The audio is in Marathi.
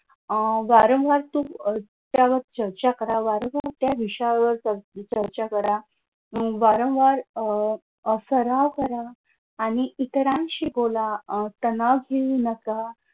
अह वारंवार तुम्ही त्यावर चर्चा करा. वारंवार त्या विषयावर चर्चा करा वारंवार अह सराव करा आणि इतरांशी बोला अह तणाव free बसा